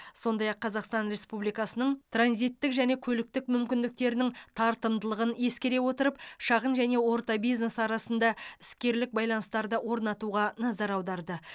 сондай ақ қазақстан республикасының транзиттік және көліктік мүмкіндіктерінің тартымдылығын ескере отырып шағын және орта бизнес арасында іскерлік байланыстарды орнатуға назар аударды